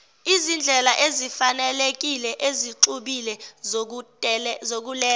izindlelaezifanelekile ezixubile zokuletha